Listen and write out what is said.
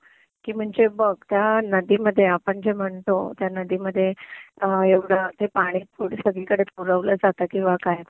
की म्हणजे बघ त्या नदीमध्ये आपण जे म्हणतो त्या नदीमध्ये एवढं ते पानी पुढे सगळीकडे पुरवलं जातं किंवा काय